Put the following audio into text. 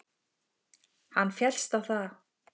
Hann féllst á það.